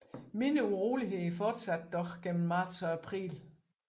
Mindre uroligheder fortsatte dog gennem marts og april